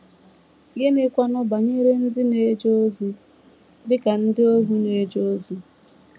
Gịnịkwanụ banyere ndị na - eje ozi dị ka ndị ohu na - eje ozi?